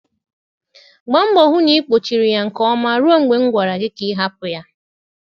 Gbaa mbọ hụ na ị kpochiri ya nke ọma ruo mgbe m gwara gị ka ị hapụ ya.